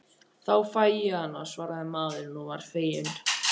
Þá fæ ég hana, svaraði maðurinn og var feginn.